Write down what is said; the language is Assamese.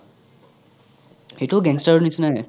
এইতো ও gang star অৰ নিচিনাই এ